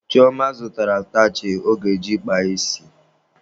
Chioma zụtara atachị ọ ga-eji kpaa isi.